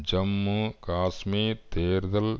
ஜம்மு காஷ்மீர் தேர்தல்